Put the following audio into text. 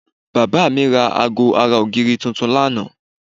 Bàbá mi ra aago ara ògiri tuntun lánàá